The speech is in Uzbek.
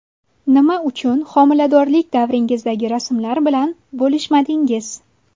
Nima uchun homiladorlik davringizdagi rasmlar bilan bo‘lishmadingiz?